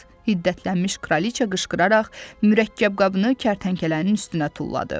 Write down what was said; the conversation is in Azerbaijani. Hiddətlənmiş kraliçə qışqıraraq mürəkkəb qabını kərtənkələnin üstünə tulladı.